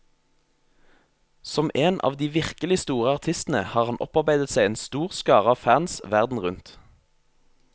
Som en av de virkelig store artistene har han opparbeidet seg en stor skare av fans verden rundt.